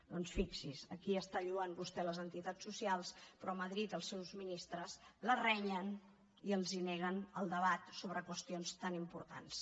doncs fixi s’hi aquí lloa vostè les entitats socials però a madrid els seus ministres les renyen i els neguen el debat sobre qüestions tan importants